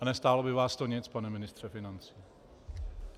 A nestálo by vás to nic, pane ministře financí.